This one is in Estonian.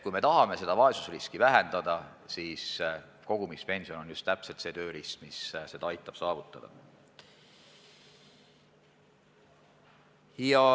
Kui tahame vaesusriski vähendada, siis on just kogumispension see tööriist, mis aitab seda saavutada.